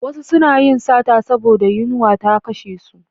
Wasu suna yin sata saboda yunwa ta kashe su.